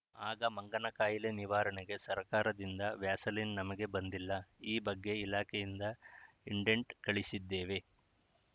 ಆಗ ಮಂಗನ ಕಾಯಿಲೆ ನಿವಾರಣೆಗೆ ಸರಕಾರದಿಂದ ವ್ಯಾಸಲಿನ್‌ ನಮಗೆ ಬಂದಿಲ್ಲ ಈ ಬಗ್ಗೆ ಇಲಾಖೆಯಿಂದ ಇಂಡೆಂಟ್‌ ಕಳಿಸಿದ್ದೇವೆ